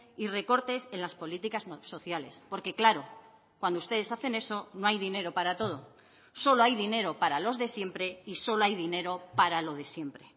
y recortes en las políticas sociales porque claro cuando ustedes hacen eso no hay dinero para todo solo hay dinero para los de siempre y solo hay dinero para lo de siempre